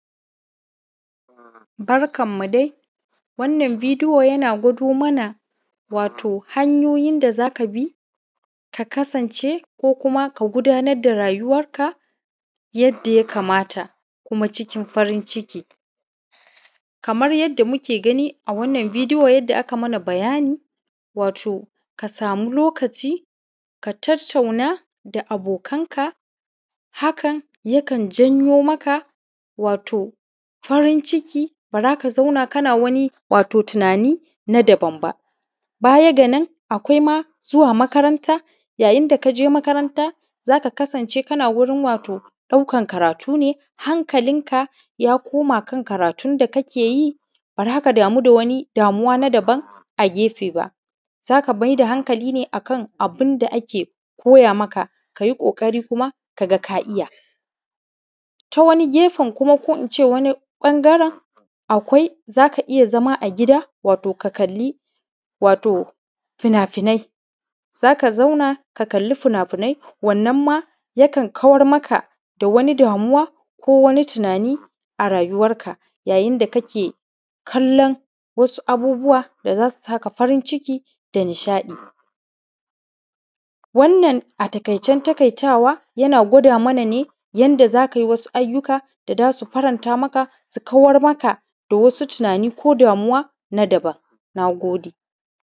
Barkanmu dai, wannan bidiyo yana gwado mana hanyoyin da za ka bi ka kasance ko kuma ka gudnar da rayuwarka yadda yakamata, kuma cikin farin ciki. Kamar yadda muke gani a wannan bidiyo, aka mana bayani wato ka sami ka tattauna da abokanka, hakan yakan zan yo maka farin ciki. Ba za ka zauna kana tunani na daban ba. Baya a ƙwaima zuwa makaranta yayin da ka je makaranta, za ka kasance kana wajen ɗaukan karatu, ne. Hankalinka ya kuma kan karatu ne, ba za ka kamu da wani dauwa ma daban a gefe-gefe ba. Za ka maida hankali akan karatunka ake koya maka ka yi ƙoƙari ka ga ka iya. Ta wani gefe kuma, ko in ce wani ɓangare, akwai za ka iya zama a gida, wato ka kalli fina-finai. Za ka zauna ka kalli fina-finai. Wannan ma yakan kawar maka da wani damuwa ko wani tunani a rayuwarka. Yadda kake kallon abubuwa da za su sa ka farin ciki da nishaɗi. Wannan a taƙaicen taƙaitawa yana gwada mana ne yadda za ka iya yin wani ayyuka da za su faranta maka, su kawar maka da wasu damuwowin na daban. Na gode.